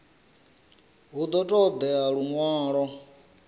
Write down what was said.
hu ḓo ṱo ḓea luṅwalo